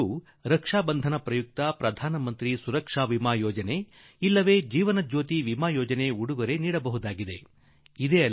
ಆಕೆಗೆ ರಾಖಿ ಬಂಧನ ಹಬ್ಬದಲ್ಲಿ ಸುರಕ್ಷಾ ವಿಮಾ ಯೋಜನೆ ಅಥವಾ ಜೀವನ ಜ್ಯೋತಿ ವಿಮಾ ಯೋಜನೆಯನ್ನು ನೀವು ಕೊಡಬಹುದಾಗಿದೆ